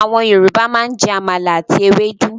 Àwọn Yorùbá máa ń jẹ àmàlà àti ewédú.